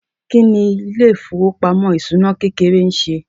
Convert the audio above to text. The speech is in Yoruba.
Kí ni ilé ìfowópamọ́ ìṣúná kékeré ń ṣe?